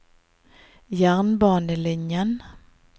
jernbanelinjen